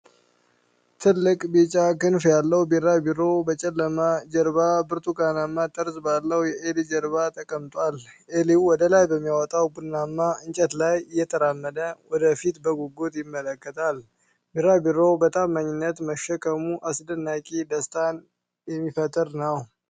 ትልቅ ቢጫ ክንፍ ያለው ቢራቢሮ በጨለማ ጀርባና ብርቱካናማ ጠርዝ ባለው የዔሊ ጀርባ ላይ ተቀምጧል። ዔሊው ወደ ላይ በሚወጣ ቡናማ እንጨት ላይ እየተራመደ፣ ወደ ፊት በጉጉት ይመለከታል። ቢራቢሮው በታማኝነት መሸከሙ አስደናቂና ደስታን የሚፈጥር ነው።